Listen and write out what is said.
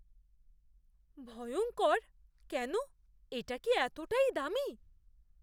ভয়ঙ্কর? কেন? এটা কি এতই দামী?